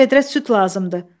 Bir vedrə süd lazımdır.